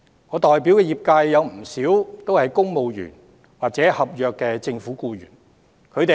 我代表的業界有不少公務員或政府合約僱員。